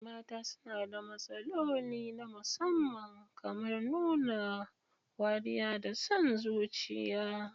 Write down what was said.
Mata suna da matsaloli na musamman, kamar nuna wariya da son zuciya.